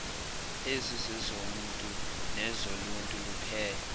ezizezomntu nezoluntu luphela